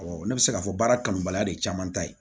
ne bɛ se k'a fɔ baara kanubaliya de ye caman ta ye